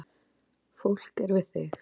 Fólk er við þig